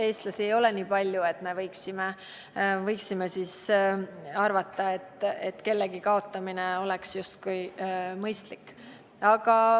Eestlasi ei ole nii palju, et me võiksime arvata, et kellegi kaotamine oleks justkui mõistlik.